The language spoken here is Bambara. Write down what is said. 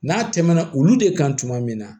N'a tɛmɛna olu de kan tuma min na